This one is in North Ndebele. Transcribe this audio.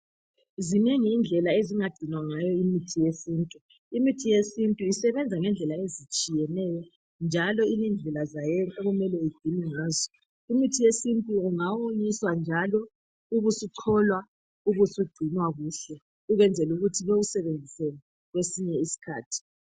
zinengi indlela ezingagcinwa ngayo imithi yesintu imithi yesintu isebenza ngezindlela ezitshiyeneyo njalo ilendlela zao okumele igcinwe ngazo umuthi wesintu ungawonyiswa njalo ubusucholwa ubusugcinwa kuhle ukwenzela ukuthi bawusebenzise kwesinye isikhathi